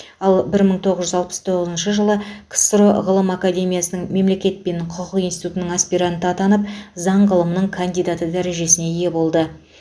ал бір мың тоғыз жүз алпыс тоғызыншы жылы ксро ғылым академиясының мемлекет пен құқық институтының аспиранты атанып заң ғылымының кандидаты дәрежесіне ие болды